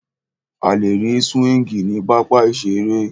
A lè rí súwíngì ní pápá ìseré